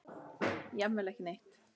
Jafnvel ekki neitt.